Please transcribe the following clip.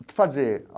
O que fazer?